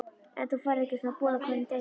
En þú færð ekki svona boð á hverjum degi.